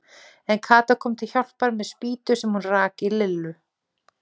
En Kata kom til hjálpar með spýtu sem hún rak í Lillu.